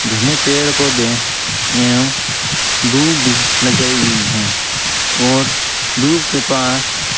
घने पेड़ पौधे एवं दूब लगाई हुई है और दूब के पास --